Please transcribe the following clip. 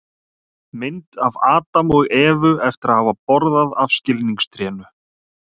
mynd af adam og evu eftir að hafa borðað af skilningstrénu